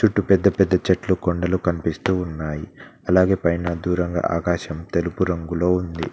ట్టు పెద్ద పెద్ద చెట్లు కొండలు కన్పిస్తూ ఉన్నాయి అలాగే పైన దూరంగా ఆకాశం తెలుపు రంగులో ఉంది.